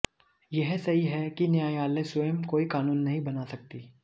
यह सही है कि न्यायालय स्वयं कोई कानून नहीं बना सकता